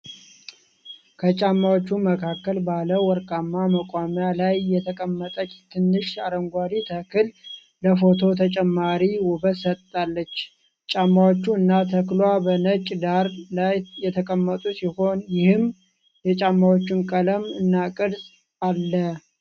ከጫማዎቹ መካከል ባለ ወርቃማ መቆሚያ ላይ የተቀመጠች ትንሽ አረንጓዴ ተክል ለፎቶው ተጨማሪ ውበት ሰጥታለች። ጫማዎቹ እና ተክሏ በነጭ ዳራ ላይ የተቀመጡ ሲሆኑ፣ ይህም የጫማዎቹን ቀለም እና ቅርፅ አል።